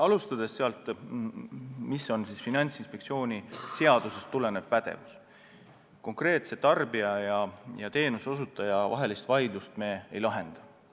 Alustades sellest, mis on meie Finantsinspektsiooni seadusest tulenev pädevus, selgitan veel kord, et konkreetse tarbija ja teenuseosutaja vahelisi vaidlusi me ei lahenda.